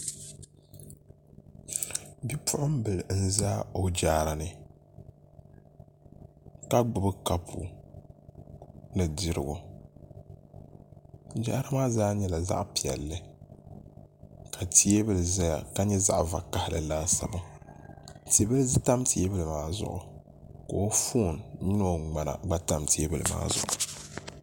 Bɛ puɣinbili n ʒɛ jaarani ka gbubi kapu ni dirigu jaara maa zaa nyɛla zaɣ'piɛlli ka teebuli ʒɛya ka nyɛ zaɣ vakahili tibili tam teebuli maa zuɣu koo foon noo ŋma gba tam teebuli maa zuɣu